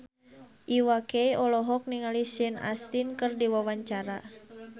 Iwa K olohok ningali Sean Astin keur diwawancara